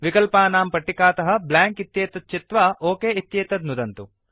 विकल्पानां पट्टिकातः ब्लैंक इत्येतत् चित्वा ओक इत्येतत् नुदन्तु